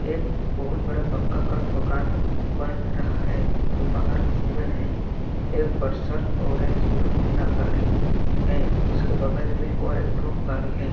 एक बहुत बड़ा पक्का का बकान बन रहा है दोपहर का समय है। एक परसल और एक हीरोहौंडा गाड़ी है उसके बगल में और एक ठो गाड़ी है। .